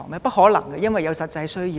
不可能，因為有此實際需要。